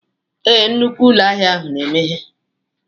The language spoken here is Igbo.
Ee, nnukwu ụlọ ahịa na-emeghe.